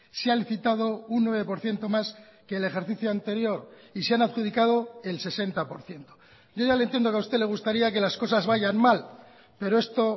se ha licitado un nueve por ciento más que el ejercicio anterior y se han adjudicado el sesenta por ciento yo ya le entiendo que a usted le gustaría que las cosas vayan mal pero esto